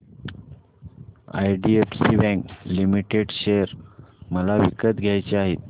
IDFC bank limited share मला विकत घ्यायचे आहेत